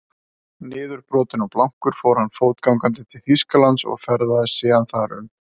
Niðurbrotinn og blankur fór hann fótgangandi til Þýskalands og ferðaðist síðan þar um.